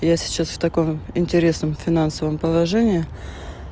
я сейчас в таком интересном финансовом положении